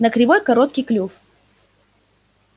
на кривой короткий клюв